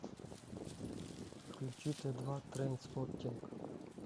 включи т два трейнспоттинг